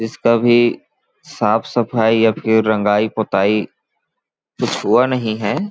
जिसका भी साफ सफाई या फिर रंगाई पौताई कुछ हुआ नहीं है।